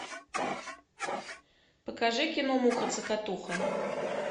покажи кино муха цокотуха